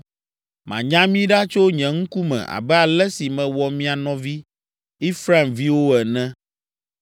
Manya mi ɖa tso nye ŋkume abe ale si mewɔ mia nɔvi Efraimviwo ene.’